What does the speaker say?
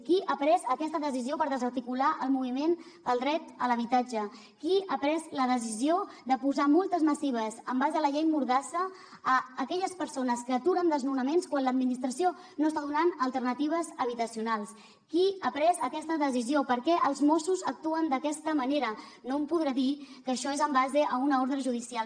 qui ha pres aquesta decisió per desarticular el moviment pel dret a l’habitatge qui ha pres la decisió de posar multes massives en base a la llei mordassa a aquelles persones que aturen desnonaments quan l’administració no està donant alternatives habitacionals qui ha pres aquesta decisió per què els mossos actuen d’aquesta manera no em podrà dir que això és en base a una ordre judicial